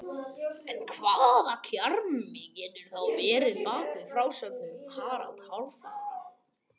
en hvaða kjarni getur þá verið að baki frásögnum um harald hárfagra